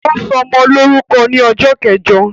Ó ṣọmọ lórúkọ ni ọjọ́ kẹjọ